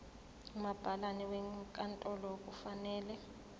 umabhalane wenkantolo kufanele